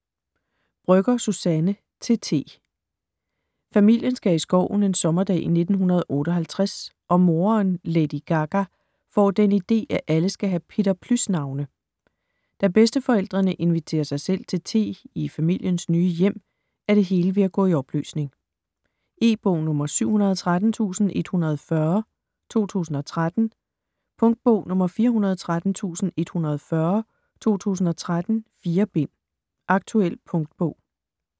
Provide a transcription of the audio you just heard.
Brøgger, Suzanne: Til T Familien skal i skoven en sommerdag i 1958, og moderen, Lady Gaga, får den ide, at alle skal have Peter Plys navne. Da bedsteforældrene inviterer sig selv til te i familiens nye hjem, er det hele ved at gå i opløsning. E-bog 713140 2013. Punktbog 413140 2013. 4 bind. Aktuel punktbog